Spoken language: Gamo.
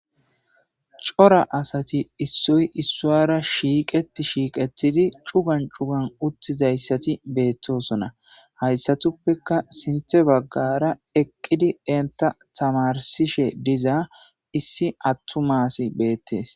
cora asati issoy issuwara shiiqeti shiiqetidi cugan cugan uttizayssati beettosona hayssatuppeka sinthe baggara eqqidi enta tamarsishe diza issi attu maasi beettees